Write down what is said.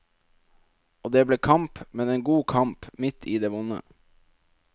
Og det ble kamp, men en god kamp, midt i det vonde.